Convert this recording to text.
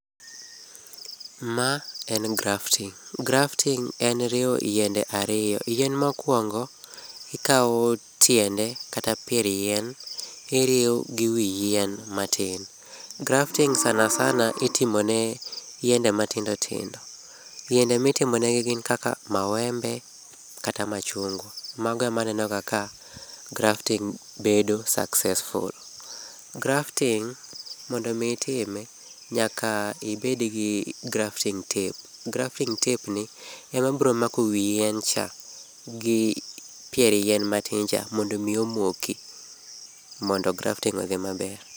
Ma en grafting, grafting en riwo yiende ariyo. Yien mokuongo ikaw tiende kata pier yien iriwo gi wii yien matin. Grafting sana sana itimone yiende matindo tindo. Yiende mitimo ne gin kaka mawembe kata machungwa. Mago ema aneno ka sana sana bedo successful. Grafting, mondo mii itime nyaka ibed gi grafting tape, grafting tape ni ema biro mako wii yien cha gi pier yien matin cha mondo mi omoki mondo grafting odhi maber